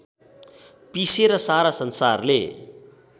पिसेर सारा संसारले